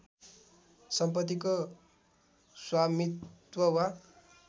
सम्पत्तिको स्वामित्व वा